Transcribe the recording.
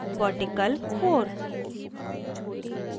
vertical – 4